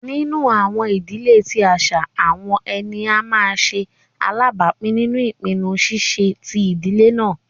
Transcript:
Nínu àwọn idílẹ̀ tí àṣà, àwọn ẹnia má nṣè alábápìn nínú ìpìnnú ṣíṣẹ̀ tí idílẹ̀ náà.